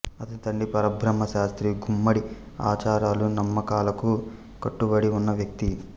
అతని తండ్రి పరబ్రహ్మ శాస్త్రి గుమ్మడి ఆచారాలు నమ్మకాలకు కట్టుబడి ఉన్న వ్యక్తి